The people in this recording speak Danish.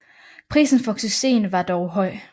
Prisen for succesen var dog høj